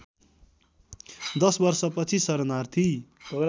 दश वर्षपछि शरणार्थी